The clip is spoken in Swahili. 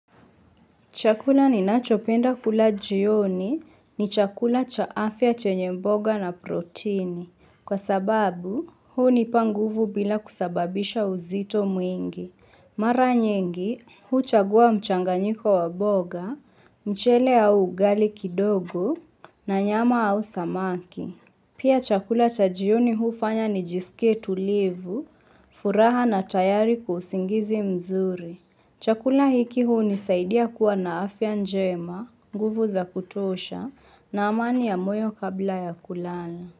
Chakula ninachopenda kula jioni ni chakula cha afya chenye mboga na protini. Kwa sababu, hunipa nguvu bila kusababisha uzito mwingi. Mara nyingi, huchagua mchanganyiko wa mboga, mchele au ugali kidogo na nyama au samaki. Pia chakula cha jioni hufanya nijisikie tulivu, furaha na tayari kwa usingizi mzuri. Chakula hiki hunisaidia kuwa na afya njema nguvu za kutosha na amani ya moyo kabla ya kulana.